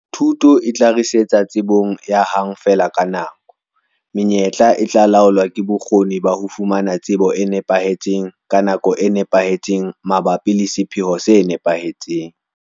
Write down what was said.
Thuto e tla ritsetsa tsebong ya 'hang-feela-ka-nako'. Menyetla e tla laolwa ke bokgoni ba ho fumana tsebo e nepahetseng ka nako e nepahetseng mabapi le sepheo se nepahetseng.